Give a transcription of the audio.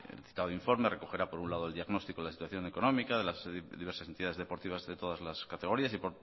el citado informe recogerá por un lado el diagnóstico de la situación económica de las diversas entidades deportivas de todas las categorías y